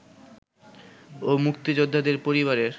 ও মুক্তিযোদ্ধাদের পরিবারের